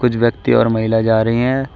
कुछ व्यक्ति और महिला जा रही है।